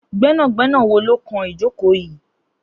Gbẹnágbẹná wó ló kán ijókó yi?